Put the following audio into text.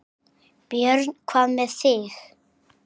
Björn: Hvað með þig?